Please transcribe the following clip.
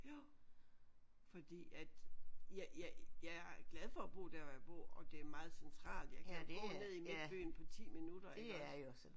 Jo fordi at jeg jeg jeg er glad for at bo der hvor jeg bor og det er meget centralt jeg kan gå ned i midtbyen på 10 minutter iggås